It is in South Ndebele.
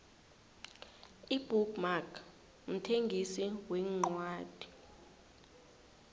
ibook mark mthengisi wencwadi